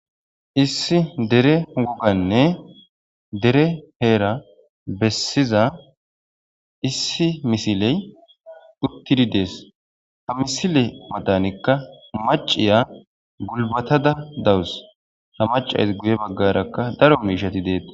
issi dere woganne dere heera bessiza issi misiley uttidi dees ha misile matanikka maciya gulbatada dawus ha macays guye baggarakka daro miishati deetta.